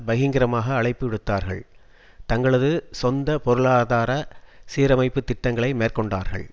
பகிங்கரமாக அழைப்புவிடுத்தார்கள் தங்களது சொந்த பொருளாதார சீரமைப்புத் திட்டங்களை மேற்கொண்டார்கள்